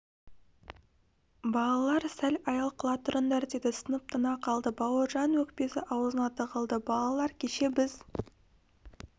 балалар сәл аял қыла тұрыңдар деді сынып тына қалды бауыржанның өкпесі аузына тығылды балалар кеше біз